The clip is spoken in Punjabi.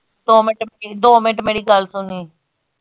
ਦੋ minute ਦੋ minute ਮੇਰੀ ਗੱਲ ਤਾਂ ਸੁਣ ।